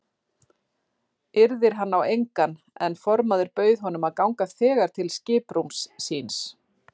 Yrðir hann á engan en formaður bauð honum að ganga þegar til skiprúms síns.